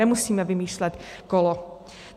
Nemusíme vymýšlet kolo.